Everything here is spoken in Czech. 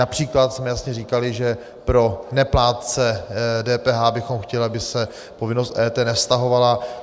Například jsme jasně říkali, že pro neplátce DPH bychom chtěli, aby se povinnost EET nevztahovala.